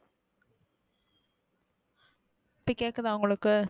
இப்ப கேக்குதா உங்களுக்கு,